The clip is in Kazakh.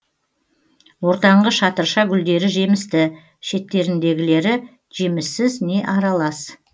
ортаңғы шатырша гүлдері жемісті шеттеріндегілері жеміссіз не аралас